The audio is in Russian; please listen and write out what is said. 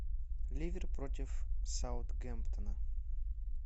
ливер против саутгемптона